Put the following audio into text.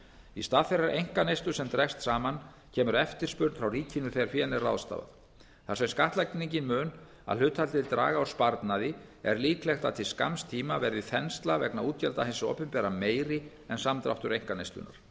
í stað þeirrar einkaneyslu sem dregst saman kemur eftirspurn frá ríkinu þegar fénu er ráðstafað þar sem skattlagningin mun að hluta til draga úr sparnaði er líklegt að til skamms tíma verði þensla vegna útgjalda hins opinbera meiri en samdráttur einkaneyslunnar